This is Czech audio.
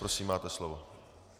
Prosím, máte slovo.